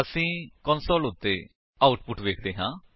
ਅਸੀ ਕੰਸੋਲ ਉੱਤੇ ਆਉਟਪੁਟ ਵੇਖਦੇ ਹਾਂ